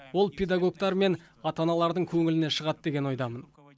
ол педагогтар мен ата аналардың көңілінен шығады деген ойдамын